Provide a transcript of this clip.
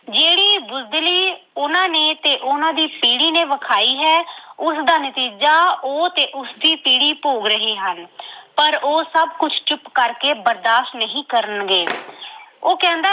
ਜਿਹੜੀ ਬੁਜ਼ਦਿਲੀ ਉਹਨਾਂ ਨੇ ਅਤੇ ਉਹਨਾਂ ਦੀ ਪੀੜ੍ਹੀ ਨੇ ਵਿਖਾਈ ਹੈ, ਉਸਦਾ ਨਤੀਜਾ ਉਹ ਤੇ ਉਸਦੀ ਪੀੜ੍ਹੀ ਭੋਗ ਰਹੇ ਹਨ ਪਰ ਉਹ ਸਭ ਕੁੱਝ ਚੁੱਪ ਕਰਕੇ ਬਰਦਾਸ਼ ਨਹੀਂ ਕਰਨਗੇ ਉਹ ਕਹਿੰਦਾ